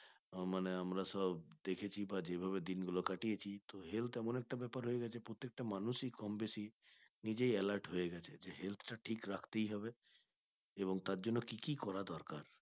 মানে আমরা সব দেখেছি বা যেভাবে দিন গুলো কাটিয়েছি তো health এমন একটা ব্যাপার হয়ে গেছে প্রত্যেকটা মানুষ ই কম বেশি নিজেই alert হয়ে গেছে যে health টা ঠিক রাখতেই হবে এবং তার জন্য কি কি করা দরকার